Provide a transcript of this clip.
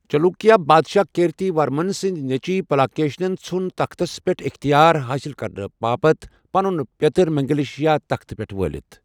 چلوُکیا بادشاہ کیرتی ورمن سٕنٛدِ نیچِوِ پلاکشیَن ژھٗن تختَس پٮ۪ٹھ اِختیار حٲصِل کرنہٕ باتھ پنُن پیتٕر منگلیشا تختہٕ پٮ۪ٹھ وٲلِتھ ۔